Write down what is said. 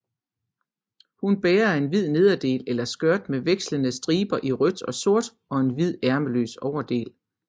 Hun bærer en hvid nederdel eller skørt med vekslende striber i rødt og sort og en hvid ærmeløs overdel